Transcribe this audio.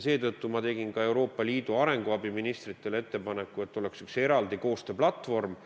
Seetõttu ma tegin Euroopa Liidu arenguabi ministritele ettepaneku, et oleks üks eraldi projektide koostööplatvorm,